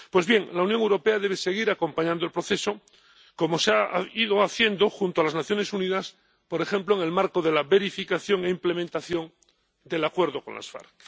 Pues bien, la Unión Europea debe seguir acompañando el proceso, como se ha ido haciendo, junto a las Naciones Unidas, por ejemplo en el marco de la verificación e implementación del acuerdo con las FARC.